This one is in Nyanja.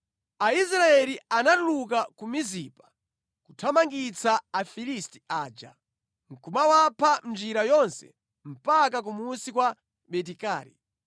Aisraeli anatuluka ku Mizipa kuthamangitsa Afilisti aja nʼkumawapha mʼnjira yonse mpaka kumunsi kwa Beti-Kari.